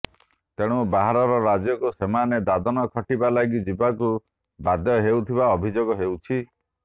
ତେଣୁ ବାହାର ରାଜ୍ୟକୁ ସେମାନେ ଦାଦନ ଖଟିବା ଲାଗି ଯିବାକୁ ବାଧ୍ୟ ହେଉଥିବା ଅଭିଯୋଗ ହେଉଛି